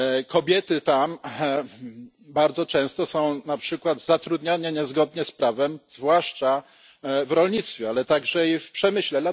Kobiety tam bardzo często są na przykład zatrudniane niezgodnie z prawem, zwłaszcza w rolnictwie, ale także i w przemyśle.